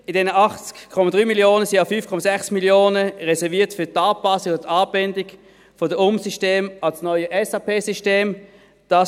In diesem 80,3 Mio. Franken sind ja 5,6 Mio. Franken für die Anpassung oder Anbindung der Umsysteme an das neue SAP-System reserviert.